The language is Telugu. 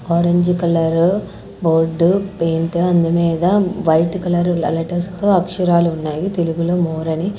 ఆరెంజు కలరు బోర్డు పెయింట్ అందు మీద వైట్ కలరు లెటర్స్ తో అక్షరాలు ఉన్నాయి తెలుగులో మోర్ అని.